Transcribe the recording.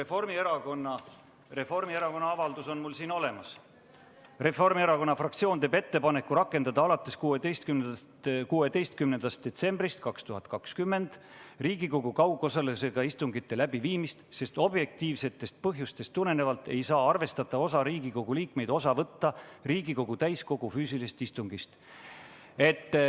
Mul on Reformierakonna avaldus siin olemas: "Reformierakonna fraktsioon teeb ettepaneku rakendada alates 16. detsembrist 2020 Riigikogu kaugosalusega istungite läbiviimist, sest objektiivsetest põhjustest tulenevalt ei saa arvestatav osa Riigikogu liikmeid osa võtta Riigikogu täiskogu füüsilisest istungist.